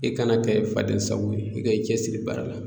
I kana kɛ fadensago ye i ka i cɛsiri baara la